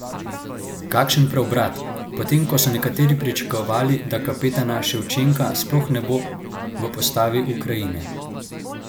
Kakšen preobrat, potem ko so nekateri pričakovali, da kapetana Ševčenka sploh ne bo v postavi Ukrajine!